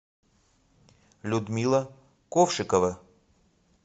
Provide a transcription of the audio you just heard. людмила ковшикова